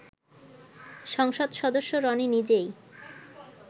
সংসদ সদস্য রনি নিজেই